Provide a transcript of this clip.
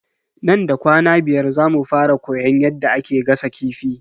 Nan da kwana biyar zamu fara koyan yadda ake gasa kifi.